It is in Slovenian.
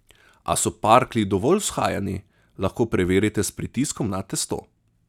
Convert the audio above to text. Ali so parklji dovolj vzhajani, lahko preverite s pritiskom na testo.